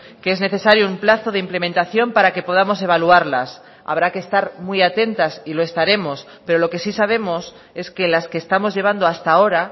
que es necesario un plazo de implementación para que podamos evaluarlas habrá que estar muy atentas y lo estaremos pero lo que sí sabemos es que las que estamos llevando hasta ahora